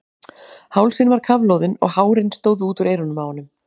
Hálsinn var kafloðinn og hárin stóðu út úr eyrunum á honum.